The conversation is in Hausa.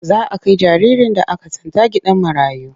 Za a kai jaririn da aka tsinta gidan marayu.